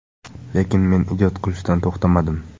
Lekin men ijod qilishdan to‘xtamadim.